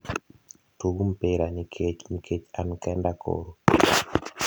tug mpira ni kech nikech an kenda koro